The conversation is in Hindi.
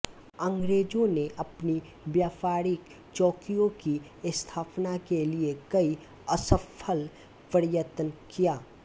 अंग्रेंजों ने अपनी व्यापारिक चौकियों की स्थापना के लिये कई असफल प्रयत्न किया